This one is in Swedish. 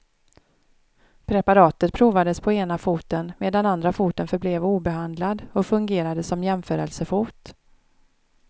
Preparatet provades på ena foten medan andra foten förblev obehandlad och fungerade som jämförelsefot.